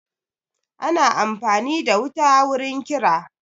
Ana amfani da wuta wurin kira